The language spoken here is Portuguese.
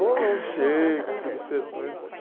Ou ler um Shakespeare, do Cervantes que